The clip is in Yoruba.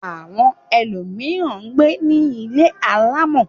Àwọn ẹlòmíràn ń gbé ní ilé alámọ̀.